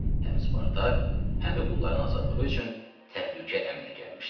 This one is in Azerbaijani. Həm Spartak, həm də qulların azadlığı üçün təhlükə əmələ gəlmişdi.